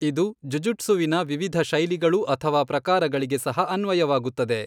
ಇದು ಜುಜುಟ್ಸುವಿನ ವಿವಿಧ ಶೈಲಿಗಳು ಅಥವಾ ಪ್ರಕಾರಗಳಿಗೆ ಸಹ ಅನ್ವಯವಾಗುತ್ತದೆ.